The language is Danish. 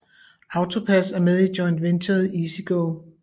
AutoPASS er med i joint venturet EasyGo